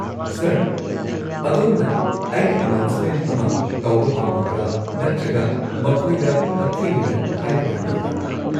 Sir, ꯑꯗꯣꯝꯅ ꯑꯩꯅ announcement ꯑꯃ ꯇꯧꯕ ꯄꯥꯝꯕꯤꯕ꯭ꯔꯥ ꯅꯠꯇ꯭ꯔꯒ ꯃꯈꯣꯏꯗ ꯍꯛꯊꯦꯡꯅꯅ ꯍꯥꯏꯕ ꯄꯥꯝꯕꯤꯕ꯭ꯔꯥ?